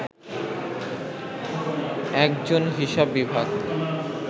একজন হিসাব বিভাগ